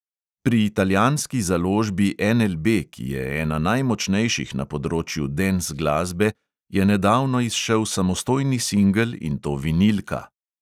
Pri italijanski založbi NLB, ki je ena najmočnejših na področju dens glasbe, je nedavno izšel samostojni singel, in to vinilka!